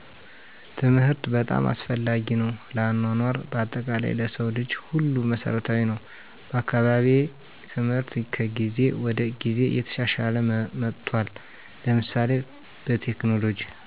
ትምህርት በጣም አስፈላጊ ነው ለአኗኗር በአጠቃላይ ለሰው ልጆች ሁሉ መሰረታዊ ነወ። በአካባቢየ ትምህርት ከጊዜ ወደ ጊዜ እየተሻሻለ መጥቷል ለምሳሌ በቴክኖሎጅ